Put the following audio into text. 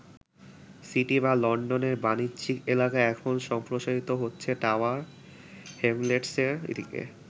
City বা লন্ডনের বাণিজ্যিক এলাকা এখন সম্প্রসারিত হচ্ছে টাওয়ার হ্যামলেটসের দিকে।